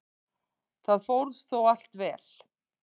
Það fór þó allt vel.